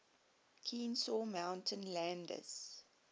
kenesaw mountain landis